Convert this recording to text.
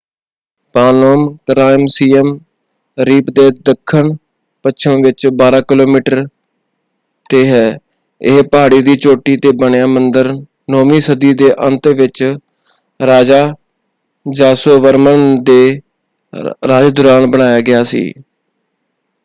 Phnom Krom Siem Reap ਦੇ ਦੱਖਣਪੱਛਮ ਵਿੱਚ 12 ਕਿਲੋਮੀਟਰ ‘ਤੇ ਹੈ। ਇਹ ਪਹਾੜੀ ਦੀ ਚੋਟੀ ‘ਤੇ ਬਣਿਆ ਮੰਦਰ 9ਵੀਂ ਸਦੀ ਦੇ ਅੰਤ ਵਿੱਚ ਰਾਜਾ ਯਾਸੋਵਰਮਨ ਦੇ ਰਾਜ ਦੌਰਾਨ ਬਣਾਇਆ ਗਿਆ ਸੀ।